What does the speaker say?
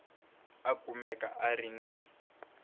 a kumeka a ri ni